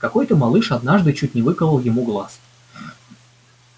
какой то малыш однажды чуть не выколол ему глаз